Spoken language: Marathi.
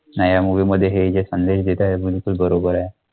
नाही या movie मध्ये हे जे संदेश देत आहे ते बरोबर आहे.